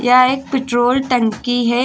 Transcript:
यह एक पेट्रोल टंकी है।